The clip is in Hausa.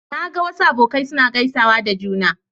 Na ga wasu abokai suna gaisawa da juna.